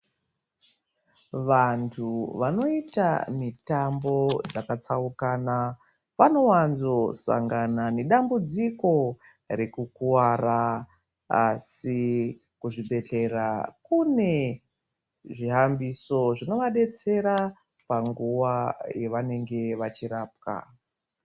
Vantu vanoita mitambo yakatsaukana vanowandzo sangana nedambudziko rekukuwara. Asi kuzvibhedhlera kune zvihambiso zvinovabetsera panguwa yavanenge vachirapwa